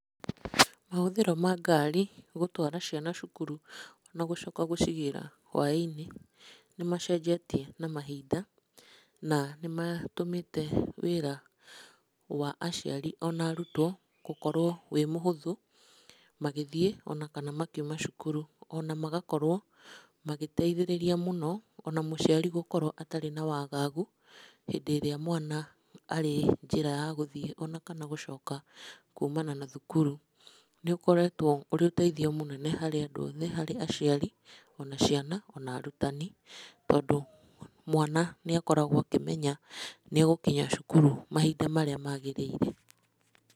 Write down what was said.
Mahũthĩro ma ngari gũtwara ciana cukuru na gũcoka gũcigĩra hwainĩ nĩ macenjetie na mahinda, na nĩ matũmĩte, wĩra wa aciari ona arutwo gũkorwo wĩ mũhũthũ magĩthiĩ ona kana makiuma cukuru, ona magakorwo magĩteithĩrĩria mũno ona mũciari gũkorwo atarĩ na wagagu hĩndĩ ĩrĩa mwana arĩ njĩra ya gũthiĩ ona kana gũcoka kuumana na thukuru. Nĩ ũkoretwo ũrĩ ũteithio mũnene harĩ na andũ othe, harĩ aciari, ona ciana, ona arutani, tondũ mwana nĩ akoragwo akĩmenya nĩ egũkinya cukuru mahinda marĩa magĩrĩire.